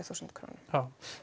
þúsund